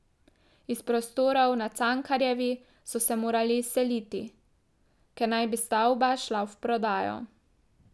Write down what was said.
Iz prostorov na Cankarjevi so se morali izseliti, ker naj bi stavba šla v prodajo.